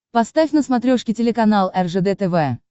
поставь на смотрешке телеканал ржд тв